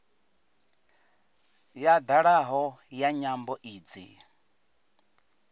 ya dalaho ya nyambo idzi